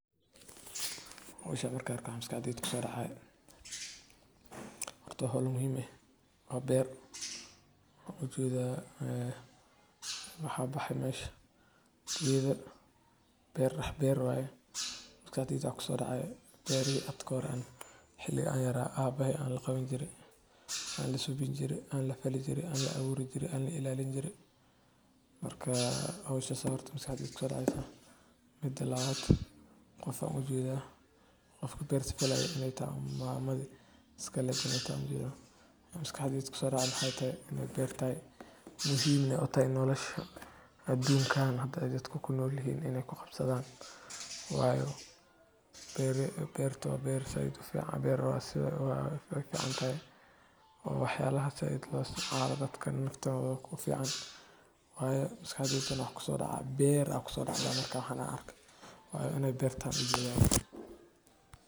Howsha marka arkay maxa maskaxdyda kusodacaya. Hort wa howlo muhim ee oo beer oo ujeda ee waxa bahay meesh geda ,beer waye maskaxdeyda waxa kusodacay beerihi hada kahore xili aan yara abahey aan laqawan jire , aan lasubin jire , aan la falii jire, aan laa aburi jire , aan la ilalini jire .marka howshas aya marka hore maskaxdeyda kusodacday . Midi labaad qof aan ujeda, qofki beerta falay inay tahay mamadi iskalehet inay tahay ujeda .maskaxdeyda waxa kusodacay maxay tahay inay beer tahay muhiim neh u tahay nolosha adunkan haada ay dadka ku nolyihin inay kuqabsadn wayo beerta wa beer sait u fican oo wax yalaha dadka sait loo isticmaalo dadka naftoda ku fican wayo maskaxdeyda neh waxa kusodacayo beer inaa arko wayo ina beer taho ujeda.